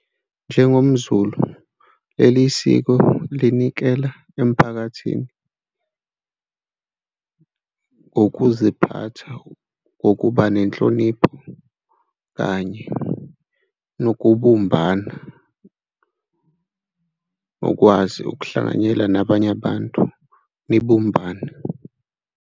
NjengomZulu, leli siko linikela emphakathini ngokuziphatha, ngokuba nenhlonipho kanye nokubumbana ngokwazi ukuhlanganyela nabanye abantu nibumbane.